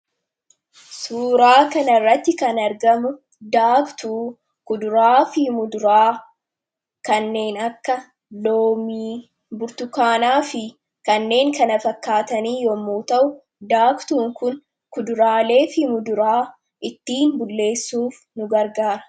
suuraa kana rratti kan argamu daaktuu kuduraa fi muduraa kanneen akka loomi burtukaanaa fi kanneen kana fakkaatanii yemmuu ta'u daaktuu kun kuduraalee fi muduraa ittiin bulleessuuf nu gargaara.